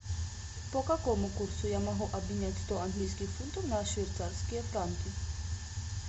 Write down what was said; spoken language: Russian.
по какому курсу я могу обменять сто английских фунтов на швейцарские франки